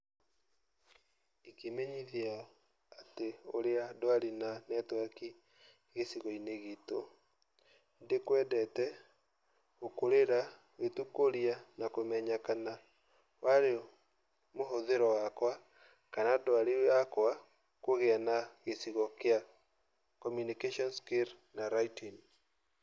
Ndingĩmenyithia atĩ ũria ndwari na netiwaki gicigoini gitu, ndĩkwendete gũkũrĩra gĩtũkũria na kũmenya kana warĩ mũhũthĩro wakwa kana ndwari yakwa kũgĩa na gĩcigo kĩa communication skills na writing.